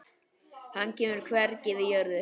Hann kemur hvergi við jörð.